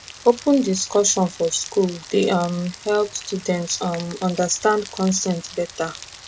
open discussion for school dey um help students um understand consent better